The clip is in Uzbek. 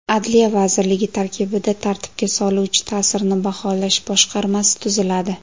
Adliya vazirligi tarkibida tartibga soluvchi ta’sirni baholash boshqarmasi tuziladi.